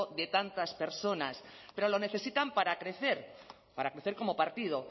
de tantas personas pero lo necesitan para crecer para crecer como partido